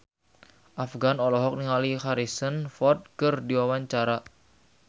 Afgan olohok ningali Harrison Ford keur diwawancara